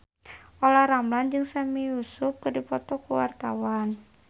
Olla Ramlan jeung Sami Yusuf keur dipoto ku wartawan